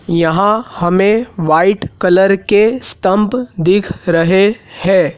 यहां हमें white colour के स्टंप दिख रहे है।